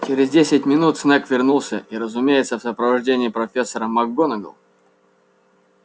через десять минут снегг вернулся и разумеется в сопровождении профессора макгонагалл